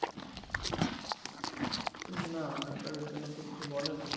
না আধার কার্ডের জন্য তো কিছু বলেনা